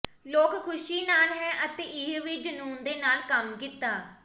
ਲੋਕ ਖ਼ੁਸ਼ੀ ਨਾਲ ਹੈ ਅਤੇ ਇਹ ਵੀ ਜਨੂੰਨ ਦੇ ਨਾਲ ਕੰਮ ਕੀਤਾ